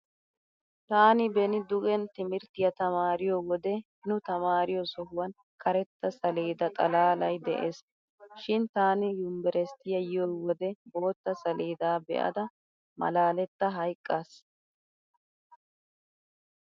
Taani beni dugen timirttiya tamaariyo wode nu tamaariyo sohuwan karetta saleeda xalaalay de'ees. Shin taani yumbberesttiya yiyo wode bootta saleedaa be'ada malaaletta hayqqaas.